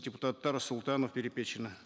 депутаттар сұлтанов перепечина